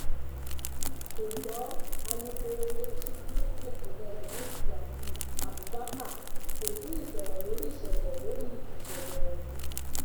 ṣùgbọn alukoro iléeṣẹ ọlọpàá ìpínlẹ náàin sp yasid abubakar kò tí ì sọrọ lórí ìṣẹlẹ lórí ìṣẹlẹ ọhún